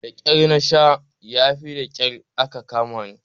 Daƙyar nasha yafi daƙyar aka kamani.